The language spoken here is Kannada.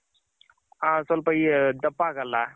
ಹ ಸ್ವಲ್ಪ ಈ ದಪ್ಪ ಆಗಲ್ಲ.